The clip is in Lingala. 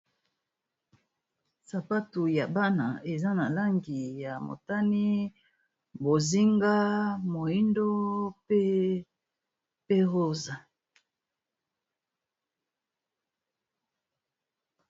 Sapatu ya bana eza na langi ya motani bozinga moindo pe rosa.